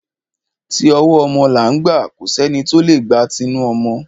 Ti ọwọ́ ọmọ là ń gbà, kò sẹ́ni tí o lè gba tinu ọmọ.